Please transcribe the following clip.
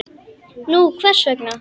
Nú, hvers vegna?